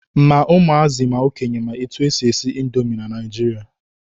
Ma ụmụazị ma okenye ma etu e si esi indomi na Naijiria.